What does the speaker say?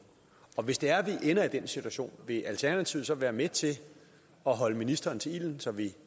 og hvis det er vi ender i den situation vil alternativet så være med til at holde ministeren til ilden så vi